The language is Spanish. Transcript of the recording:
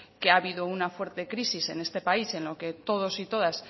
que ha habido una fuerte crisis en este país en lo que todos y todas